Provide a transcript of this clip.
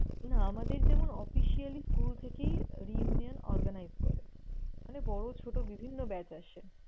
না আমাদের যেমন officially school থেকেই reunion organized করে। মানে বড় ছোট বিভিন্ন batch আসে।